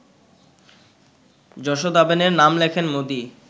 যশোদাবেনের নাম লেখেন মোদি